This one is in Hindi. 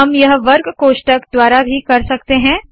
हम यह वर्ग कोष्ठक द्वारा भी कर सकते है